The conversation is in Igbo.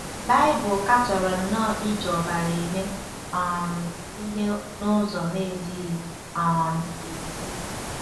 Baịbụl katọrọ nnọọ iji ọbara eme um ihe n’ụzọ na-ezighị um ezi.